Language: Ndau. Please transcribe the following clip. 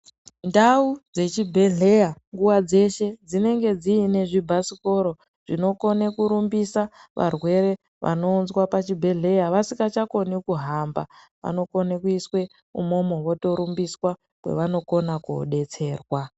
Ndau dzechibhedhlera nguva dzeshe dzinenge dziine zvibhasikoro zvinokone kurumbisa varwere vanorumbiswa pachibhedhlera vasikachakoni kuhamba, vanokone kuiswa umomo, votorumbiswa kwevanokona kodetserwa.